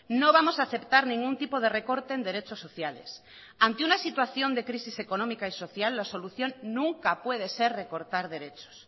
no vamos a aceptar ningún tipo de recorte en derechos sociales ante una situación de crisis económica y social la solución nunca puede ser recortar derechos